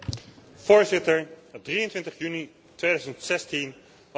23 juni 2016 was een historische dag.